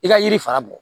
I ka yiri fara bɔ